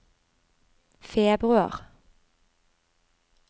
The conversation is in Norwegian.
februar